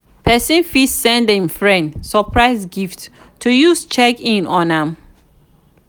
persin fit send im friend surprise gift to use check in on am